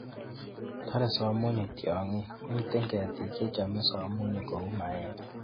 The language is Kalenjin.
Tore somunyik tiongik (minden ketik chechome somunyik kou maembe).